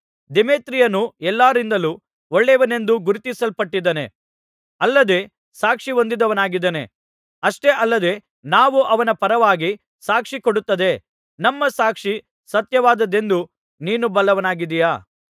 ದೇಮೇತ್ರಿಯನು ಎಲ್ಲರಿಂದಲೂ ಒಳ್ಳೆಯವನೆಂದು ಗುರುತಿಸಲ್ಪಟ್ಟಿದ್ದಾನೆ ಅಲ್ಲದೆ ಸಾಕ್ಷಿಹೊಂದಿದವನಾಗಿದ್ದಾನೆ ಅಷ್ಟೇ ಅಲ್ಲದೆ ನಾವು ಅವನ ಪರವಾಗಿ ಸಾಕ್ಷಿಕೊಡುತ್ತದೆ ನಮ್ಮ ಸಾಕ್ಷಿ ಸತ್ಯವಾದದ್ದೆಂದು ನೀನು ಬಲ್ಲವನಾಗಿದ್ದೀಯ